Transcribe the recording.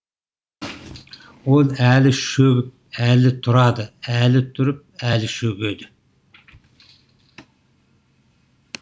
ол әлі шөгіп әлі тұрады әлі тұрып әлі шөгеді